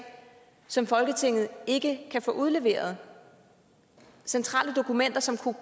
som folketinget ikke kan få udleveret centrale dokumenter som kunne